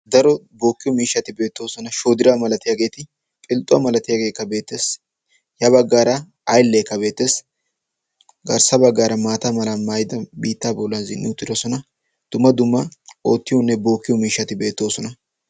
daro bookiyo miishshati beettoosona, shoodiraa malatiyaageeti. philxxuwaa malatiyaageekka beettees. ya baggaara ayllekka beettees. ya baggaara biitta maayidi zin''i uttidoosona. dumma dumma ootiyonne bookiyo miishshati beettoosona.